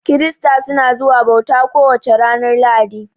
Kirista suna zuwa bauta ko wace ranar lahadi